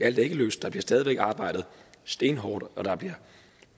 alt er ikke løst der bliver stadig væk arbejdet stenhårdt og